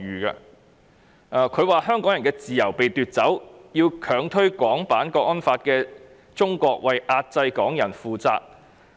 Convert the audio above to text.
他表示，香港人的自由被奪走，要強推《港區國安法》的中國為壓制港人負責。